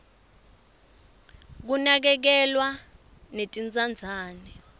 kunakekelwa netintsandzane